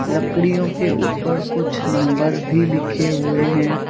लड़कियों के ऊपर कुछ नंबर भी लिखे हुए हैं।